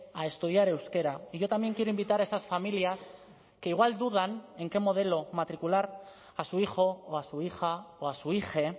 a estudiar euskera y yo también quiero invitar a esas familias que igual dudan en qué modelo matricular a su hijo o a su hija o a su hije